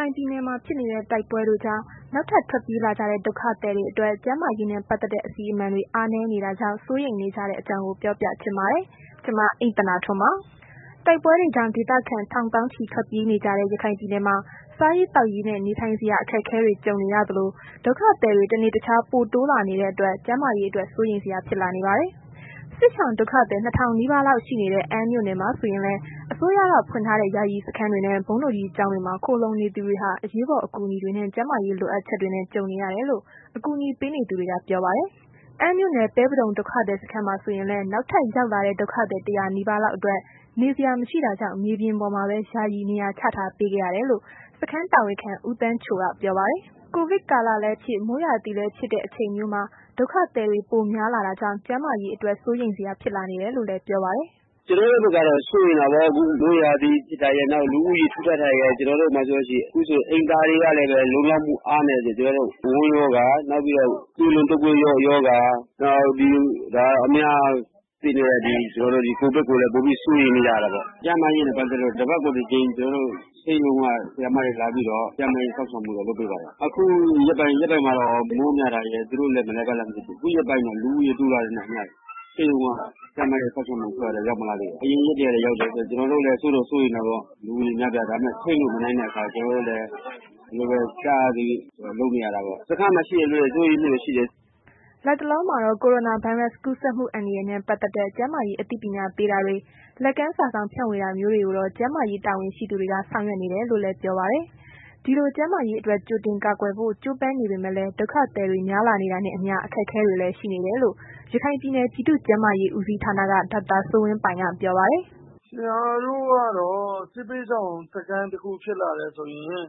ိုင်ပြည်နယ်မှာ ဖြစ်နေတဲ့ တိုက်ပွဲတွေကြောင့် နောက်ထပ်ထွက်ပြေးလာကြတဲ့ ဒုက္ခသည်တွေအတွက် ကျန်းမာရေးနဲ့ ပတ်သက်တဲ့ အစီအမံတွေ အားနည်းနေတာကြောင့် စိုးရိမ်နေကြတဲ့အကြောင်းကို ဗွီအိုအေမြန်မာပိုင်းသတင်းထောက် မအိမ့်သန္တာထွန်းက ပြောပြပေးပါမယ်။ တိုက်ပွဲတွေကြောင့် ဒေသခံထောင်သောင်းချီ ထွက်ပြေးနေကြတဲ့ ရခိုင်ပြည်နယ်မှာ စားရေးသောက်ရေးနဲ့ နေထိုင်စရာ အခက်အခဲတွေ ကြုံနေရသလို ဒုက္ခသည်တွေ တနေ့တခြား ပိုတိုးလာနေတဲ့အတွက် ကျန်းမာရေးအတွက် စိုးရိမ်စရာ ဖြစ်လာနေပါတယ်။ စစ်ရှောင် ဒုက္ခသည် ၂,၀၀၀ နီးပါးလောက် ရှိနေတဲ့ အမ်းမြို့နယ်မှာ ဆိုရင်လည်း အစိုးရက ဖွင့်ထားတဲ့ ယာယီစခန်းတွေနဲ့ ဘုန်းတော်ကြီးကျောင်းတွေမှာ ခိုလှုံနေသူတွေဟာ အရေးပေါ် အကူအညီတွေနဲ့ ကျန်းမာရေး လိုအပ်ချက်တွေနဲ့ ကြုံနေရတယ်လို့ အကူအညီပေးနေသူတွေက ပြောပါတယ်။ အမ်းမြို့နယ် ပဲပဒုံ ဒုက္ခသည်စခန်းမှာ ဆိုရင်လည်း နောက်ထပ်ရောက်လာတဲ့ ဒုက္ခသည် ၁၀၀ နီးပါးလောက်အတွက် နေစရာ မရှိတာကြောင့်မြေပြင်ပေါ်မှာပဲ ယာယီနေရာချထားပေးခဲ့ရတယ်လို့ စခန်းတာဝန်ခံ ဦးသန်းချိုက ပြောပါတယ်။ ကိုဗစ်ကာလလည်းဖြစ် မိုးရာသီလည်းဖြစ်တဲ့ အချိန်မျိုးမှာ ဒုက္ခသည်တွေ ပိုများလာတာကြောင့် ကျန်းမာရေးအတွက် စိုးရိမ်စရာ ဖြစ်လာနေတယ်လို့လည်း ပြောပါတယ်။ “ကျနော်တို့ဘက်ကတော့ စိုးရိမ်တာပေါ့ အခုက မိုးရာသီဖြစ်တာရယ်၊ နောက် လူဦးရေထူထပ်တာရယ်၊ ခုဆို ကျနော်တို့မှာဆိုရင် အိမ်သာတွေကလည်းပဲ လုံလောက်မှု အားနည်းတယ်။ ဝမ်းရောဂါ၊ သွေးလွန်တုတ်ကွေးရောဂါ နောက်ဒီ အများသိတဲ့ ကိုဗစ်ကိုလည်း ပိုပြီးစိုးရိမ်နေရတာပေါ့။ ကျန်းမာရေးနဲ့ ပတ်သက်လို့ကတော့ တပတ်ကိုတစ်ကြိမ် ဆေးရုံက ဆရာမတွေလာပြီးတော့ ကျန်းမာရေးစောင့်ရှောက်မှုတော့ လုပ်ပေးပါတယ်။ အခုရက်ပိုင်းမှာတော့ မိုးများတာရယ် သူတို့လည်း ဘယ်လိုဖြစ်လဲတော့မသိဘူး၊ ခုရက်ပိုင်းတော့ လူဦးရေ တိုးလာတဲ့နောက်ပိုင်းတော့ ဆေးရုံက သတ်မှတ်တဲ့ စောင့်ရှောက်မှုအဖွဲ့ကတော့ ရောက်မလာသေးပါဘူး။ အရင်ရက်တွေကတော့ ရောက်တယ်။ ကျနော်တို့လည်း စိုးတော့ စိုးရိမ်တာပေါ့။ လူဦးရေများတော့။ ဒါပေမဲ့ ထိန်းလို့မနိုင်တော့ ကျလိုဖြစ်သလိုပဲ ကျနော်တို့လည်း လုပ်နေရတာပေါ့။ စခန်းမှာရှိတဲ့သူတွေကလည်း စိုးရိမ်မှုတွေ ရှိတယ်။” လတ်တလောမှာတော့ ကိုရိုနာဗိုင်းရပ်စ် ကူးစက်မှု အန္တရာယ်နဲ့ ပတ်သက်တဲ့ ကျန်းမာရေး အသိပညာပေးတာတွေ လက်ကမ်းစာစောင် ဖြန့်ဝေတာမျိုးတွေကိုတော့ ကျန်းမာရေးတာဝန်ရှိသူတွေက ဆောင်ရွက်နေတယ်လို့လည်း ပြောပါတယ်။ ဒီလို ကျန်းမာရေးအတွက် ကြိုတင်ကာကွယ်ဖို့ ကြိုးပမ်းနေပေမဲ့လည်း ဒုက္ခသည်တွေ များလာနေတာနဲ့အမျှ အခက်အခဲတွေလည်း ရှိနေတယ်လို့ ရခိုင်ပြည်နယ် ပြည်သူ့ကျန်းမာရေး ဦးစီးဌာနက ဒေါက်တာစိုးဝင်းပိုင်က ပြောပါတယ်။ “ကျနော်တို့ကတော့ စစ်ဘေးရှောင်စခန်း တစ်ခုဖြစ်လာတယ်ဆိုရင်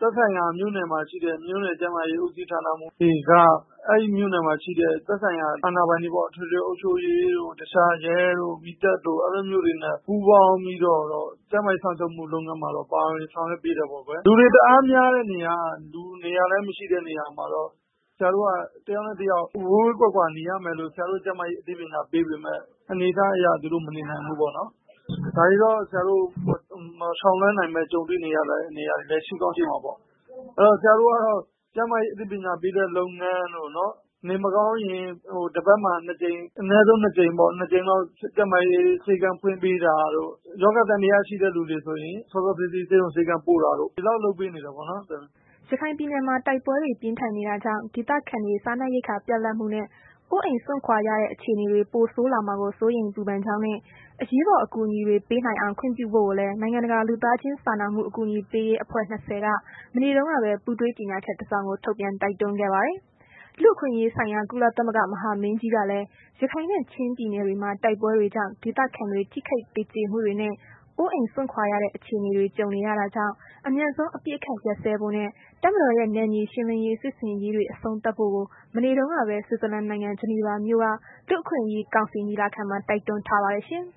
သက်ဆိုင်ရာ မြို့နယ်မှာရှိတဲ့ မြို့နယ် ကျန်းမာရေး ဦးစီးဌာနမှူးတွေက အဲ့ဒီမြို့နယ်မှာရှိတဲ့ သက်ဆိုင်ရာ အာဏာပိုင်တွေပေါ့၊ အထွေထွေအုပ်ချုပ်ရေးတို့ တခြား ရဲတို့ မီးသတ်တို့ အဲ့လိုမျိုးတွေနဲ့ ပူးပေါင်းပြီးတော့တော့ ကျန်းမာရေးလုပ်ငန်းတွေမှာတော့ ပါဝင်ဆောင်ရွက်ပေးတယ်ပေါ့ကွယ်။ လူတွေတအားများတဲ့နေရာ လူနေစရာလည်း မရှိတဲ့နေရာတွေမှာကတော့ ကျနော်တို့က တစ်ယောက်နဲ့ တစ်ယောက် ဝေးဝေးကွာကွာနေရမယ်လို့ ကျန်းမာရေး အသိပညာပေးပေမယ့် အနေအထားအရ သူတို့အနေနိုင်ဘူးပေါ့နော်။ ဒါတွေကို အရှောင်လွဲနိုင်ပဲ ကြုံတွေနေရတဲ့ နေရာတွေလည်း ရှိကောင်းရှိမှာပေ့ါ။ အဲ့တော့ ဆရာတို့ကတော့ ကျန်းမာရေးအသိပညာပေးတဲ့ လုပ်ငန်းတို့၊ နေမကောင်းရင် တပတ်မှာနှစ်ကြိမ် အနည်းဆုံး နှစ်ကြိမ်ပေါ့ ကျန်းမာရေး ဆေးခန်းဖွင့်ပေးတာတို့ ရောဂါသံသယရှိတဲ့သူတွေဆိုရင် စောစောစီးစီး ဆေးရုံဆေးခန်းပို့ပေးတာတို့ ဒီလောက်လုပ်ပေးနေတယ်ပေါ့။" ရခိုင်ပြည်နယ်မှာ တိုက်ပွဲတွေ ပြင်းထန်နေတာကြောင့် ဒေသခံတွေ စားနပ်ရိက္ခာ ပြတ်လပ်မှုနဲ့ အိုးအိမ်စွန့်ခွာရတဲ့ အခြေအနေတွေ ပိုဆိုးလာမှာကို စိုးရိမ်ပူပန်ကြောင်းနဲ့ အရေးပေါ် အကူအညီတွေ ပေးနိုင်အောင် ခွင့်ပြုဖို့လည်း နိုင်ငံတကာ လူသားချင်းစာနာမှု အကူအညီပေးရေးအဖွဲ့ ၂၀ က မနေ့တုန်းကပဲ ပူးတွဲကြေညာချက် တစ်စောင် ထုတ်ပြန်တိုက်တွန်းခဲ့ပါတယ်။ လူ့အခွင့်အရေးဆိုင်ရာ ကုလသမဂ္ဂ မဟာမင်းကြီးကလည်း ရခိုင်နဲ့ ချင်းပြည်နယ်တွေမှာ တိုက်ပွဲတွေကြောင့် ဒေသခံတွေ ထိခိုက်သေကျေမှုတွေနဲ့ အိုးအိမ်စွန့်ခွာရတဲ့ အခြေအနေတွေ ကြုံနေရတာကြောင်း အမြန်ဆုံး အပစ်အခတ် ရပ်စဲဖို့နဲ့ တပ်မတော်ရဲ့ နယ်မြေရှင်းလင်းရေး စစ်ဆင်ရေးတွေ အဆုံးသတ်ဖို့ကို မနေ့တုန်းကပဲ ဆွစ်ဇာလန်နိုင်ငံ ဂျနီဗာမြို့က လူ့အခွင့်အရေးကောင်စီ ညီလာခံမှာ တိုက်တွန်းထားပါတယ်ရှင်။